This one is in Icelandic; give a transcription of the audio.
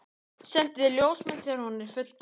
Sendi þér ljósmynd þegar hún er fullgerð.